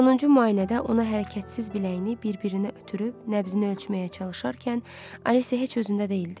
Sonuncu müayinədə ona hərəkətsiz biləyini bir-birinə ötürüb nəbzini ölçməyə çalışarkən Alisya heç özündə deyildi.